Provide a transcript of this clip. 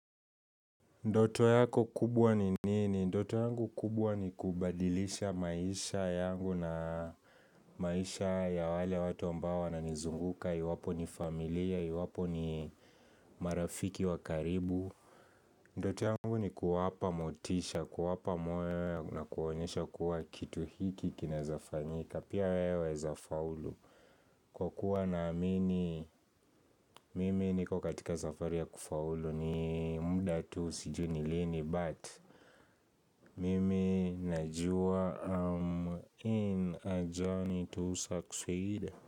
Ndoto yako kubwa ni nini? Ndoto yangu kubwa ni kubadilisha maisha yangu na maisha ya wale watu ambao wananizunguka, iwapo ni familia, iwapo ni marafiki wa karibu Ndoto yangu ni kuwapa motisha, kuwapa moyo na kuonyesha kuwa kitu hiki kinaweza fanyika, pia we waweza faulu kwakuwa naamini, mimi niko katika safari ya kufaulu ni mda tu sijui ni lini but Mimi najuwa I'm in a journey to succeed.